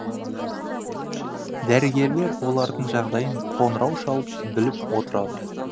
дәрігерлер олардың жағдайын қоңырау шалып біліп отырады